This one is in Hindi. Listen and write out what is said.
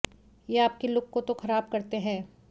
ये आपके लुक को तो खराब करते हैं